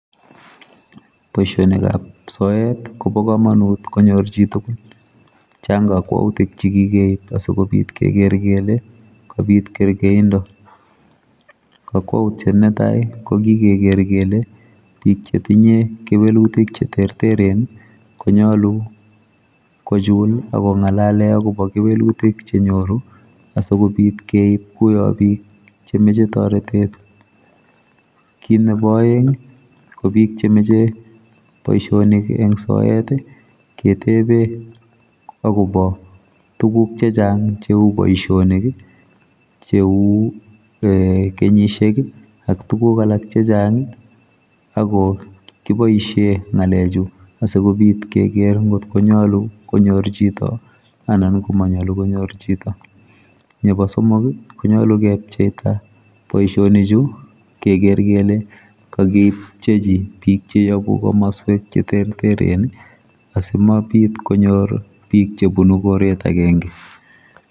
Boisionik ab soet ii Kobo kamanut konyoor chii tugul chaang kakwautiik chekikeib asikobiit keger kele kabiit kergeindo, kakwautiet ne tai ko koger kele biik che tinyei kewelutiik che terteren ii konyaluu kochul ako ngalaleen agobo kewelutiik che nyoruu asikobiit keib kuwaan biik che machei taretet kit nebo aeng ii ko boisionik en soet ketebeen agobo tuguuk che chaang che uu boisionik ii che uu kenyisiek ii ak tuguuk alaak chechaang ako kibaisheen ngalek chuu asikobiit keger ngo nyaljiin chitoo anan manyaljiin konyoor chitoo nebo somok ii konyaluu ke cheptaa boisionik chuu keger kele kagichepchii biik che yabuu komosweek che terteren asmabiit biik cheyabuu komosweek agenge.